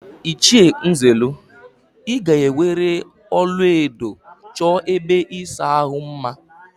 Ịchie Nzelu, ị ga-eweere ọlaedo chọọ ebe ịsa ahụ mma!